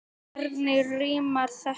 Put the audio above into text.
Hvernig rímar þetta?